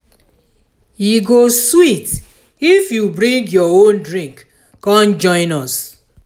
e go sweet if you fit bring your own drink come join us.